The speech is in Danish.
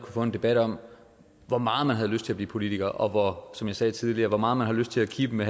få en debat om hvor meget man havde lyst til at blive politiker og som jeg sagde tidligere hvor meget man har lyst til at kippe med